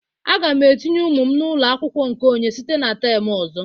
Aga m etinye ụmụ m n'ụlọ akwụkwọ nke onye site na tem ọzọ.